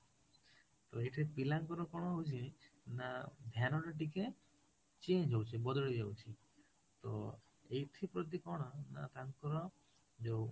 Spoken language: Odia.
ତ ଏଇଠି ପିଲାଙ୍କର କଣ ହାଉଚିନା ଧ୍ୟାନ ଟା ଟିକେ change ହଉଚି ବଦଳି ଯାଉଛି ତ ଏଠି ପ୍ରତି କଣ ନା ତାଙ୍କ ଯୋଉ